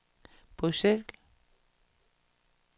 Bruxelles